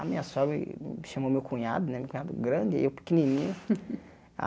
A minha sogra ih chamou meu cunhado né, meu cunhado grande e eu pequenininho.